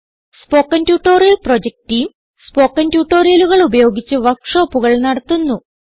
spoken tutorial project team spoken ട്യൂട്ടോറിയലുകൾ ഉപയോഗിച്ച് വർക്ക് ഷോപ്പുകൾ നടത്തുന്നു